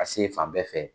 Ka se fan bɛɛ fɛ